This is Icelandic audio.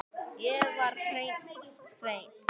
Ég var hreinn sveinn.